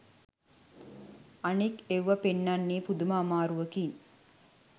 අනෙක් ඵව්ව පෙන්නන්නෙ පුදුම අමාරුවකින්